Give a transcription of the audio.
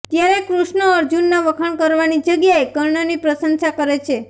ત્યારે કૃષ્ણ અર્જુનના વખાણ કરવાની જગ્યાએ કર્ણની પ્રશંસા કરે છે